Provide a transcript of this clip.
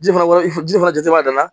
Ji fana ji fana jɔ b'a dan na